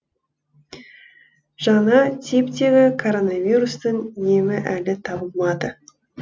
жаңа типтегі коронавирустың емі әлі табылмады